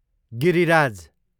Giriraj